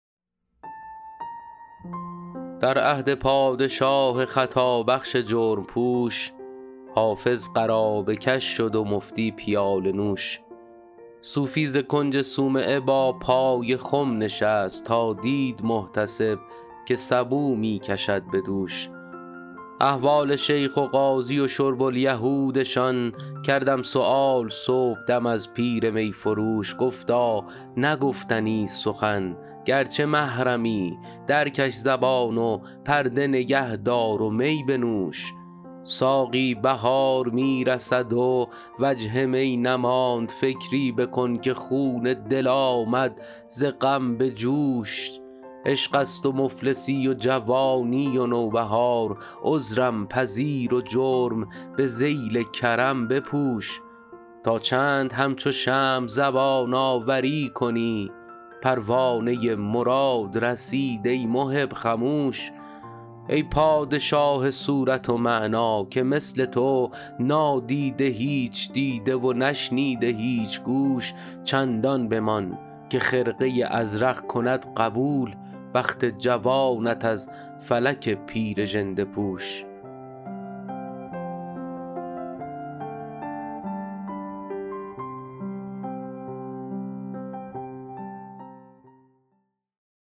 در عهد پادشاه خطابخش جرم پوش حافظ قرابه کش شد و مفتی پیاله نوش صوفی ز کنج صومعه با پای خم نشست تا دید محتسب که سبو می کشد به دوش احوال شیخ و قاضی و شرب الیهودشان کردم سؤال صبحدم از پیر می فروش گفتا نه گفتنیست سخن گرچه محرمی درکش زبان و پرده نگه دار و می بنوش ساقی بهار می رسد و وجه می نماند فکری بکن که خون دل آمد ز غم به جوش عشق است و مفلسی و جوانی و نوبهار عذرم پذیر و جرم به ذیل کرم بپوش تا چند همچو شمع زبان آوری کنی پروانه مراد رسید ای محب خموش ای پادشاه صورت و معنی که مثل تو نادیده هیچ دیده و نشنیده هیچ گوش چندان بمان که خرقه ازرق کند قبول بخت جوانت از فلک پیر ژنده پوش